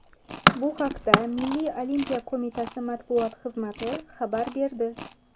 Bu haqda Milliy olimpiya qo‘mitasi matbuot xizmati xabar berdi .